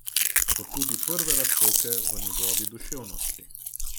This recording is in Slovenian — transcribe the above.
Kot tudi prve razpoke v njegovi duševnosti.